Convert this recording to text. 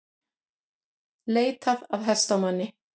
Leitað að hestamanni